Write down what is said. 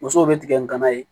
Musow bɛ tigɛ ni gana ye